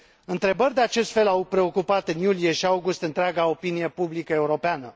Întrebări de acest fel au preocupat în iulie și august întreaga opinie publică europeană.